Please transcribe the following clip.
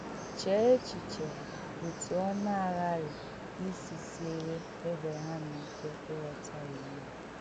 Chée echiche otú ọ̀ na-aghàrị isi sièrè Èbrèham ike ịghọta iwu a.